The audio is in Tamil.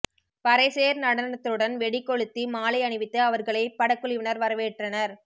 பறைசேர் நடனத்துடன் வெடி கொழுத்தி மாலை அணிவித்து அவர்களை படக்குழுவினர் வரவேற்றனர்